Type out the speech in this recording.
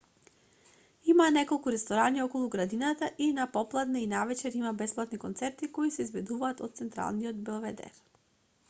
има неколку ресторани околу градината и на попладне и навечер има бесплатни концерти кои се изведуваат од централниот белведер